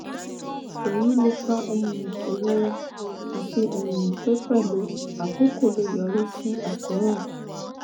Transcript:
èyí lè fa um ìrora àti um pé pẹ̀lú àkókò lè yọrí sí àkóràn